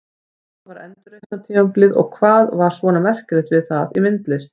Hvað var endurreisnartímabilið og hvað var svona merkilegt við það í myndlist?